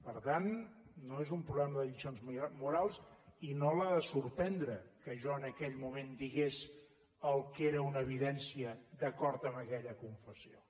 per tant no és un problema de lliçons morals i no l’ha de sorprendre que jo en aquell moment digués el que era una evidència d’acord amb aquella confessió